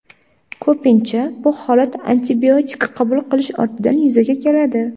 Ko‘pincha bu holat antibiotik qabul qilish ortidan yuzaga keladi.